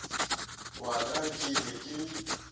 wa ka ke be ke